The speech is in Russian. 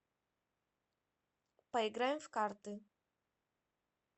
поиграем в карты